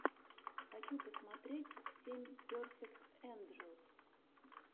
хочу посмотреть семь перфект энджелс